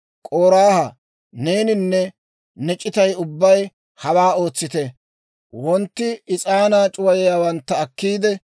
K'oraaha, neeninne ne c'itay ubbay hawaa ootsite: wontti is'aanaa c'uwayiyaawantta akkiide,